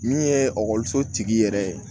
Min ye ekɔliso tigi yɛrɛ ye